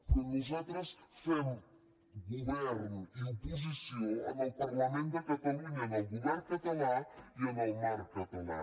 però nosaltres fem govern i oposició en el parlament de catalunya en el govern català i en el marc català